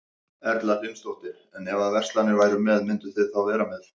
Erla Hlynsdóttir: En ef að allar verslanir væru með, mynduð þið þá vera með?